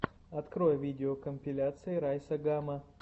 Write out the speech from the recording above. открой видеокомпиляции райса гама